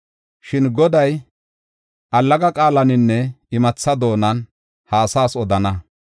Shin Goday allaga qaalaninne imatha doonan ha asaas odana.